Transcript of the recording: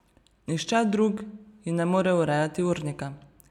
Nihče drug ji ne more urejati urnika.